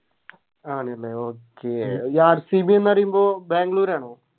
ആണല്ലേ Okay ഈ RCB ന്ന് പറയുമ്പോ ബാംഗ്ലൂരാണോ